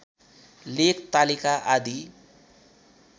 लेख तालिका आदि